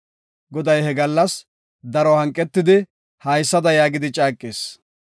Goday he gallas daro hanqetidi haysada yaagidi caaqis;